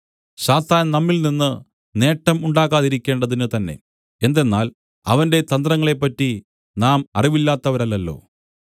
സാത്താൻ നമ്മിൽ നിന്ന് നേട്ടം ഉണ്ടാക്കാതിരിക്കേണ്ടതിനു തന്നെ എന്തെന്നാൽ അവന്റെ തന്ത്രങ്ങളെ പറ്റി നാം അറിവില്ലാത്തവരല്ലല്ലോ